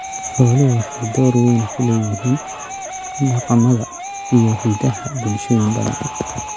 Xooluhu waxay door weyn ku leeyihiin dhaqamada iyo hiddaha bulshooyin badan.